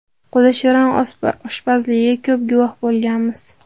Qo‘li shirin oshpazligiga ko‘p guvoh bo‘lganmiz.